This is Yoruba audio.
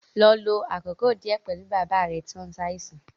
Lọ lo àkókò díẹ̀ pẹ̀lú bàbá rẹ tí ó ń ṣàìsàn